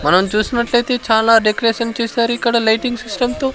మనం చూసినట్లయితే చాలా డెకరేషన్ చేశారు ఇక్కడ లైటింగ్ సిస్టంతో .